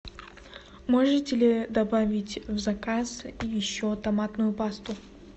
можете ли добавить в заказ еще томатную пасту